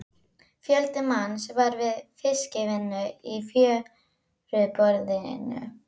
Fjöldi manns var við fiskvinnu í fjöruborðinu.